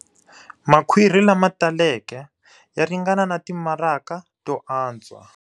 Makhwiri lama taleke ya ringana na timaraka to antswa.